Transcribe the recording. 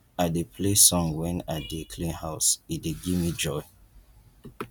i dey play song wen i dey clean house e dey give me joy